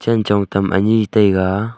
chen chong tam ani taiga.